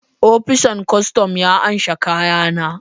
opisan kostom ya amshe kayana